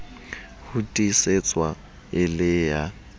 ho tiisetswa e le ya